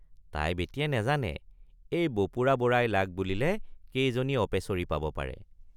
তাই বেটিয়ে নাজানে এই বপুৰা বৰাই লাগ বুলিলে কেইজনী অপেচৰী পাব পাৰে।